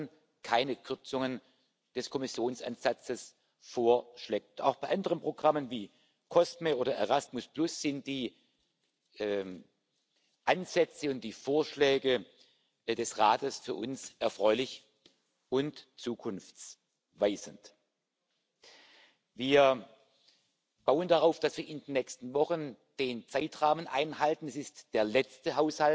stellen. Da geht es nicht nur um die Kommission, da geht es um alle Organe. Wir haben bei den Sachausgaben die Mittel eingefroren. Bei den personellen Ausgaben orientieren wir uns an dem, was als Formel aus vielen Mitgliedstaaten und deren Gehaltsentwicklung im öffentlichen Dienst die entsprechende prozentuale Anpassung 2019 sein sollte. Und da wir keinen Pensionsfonds haben, aber natürlich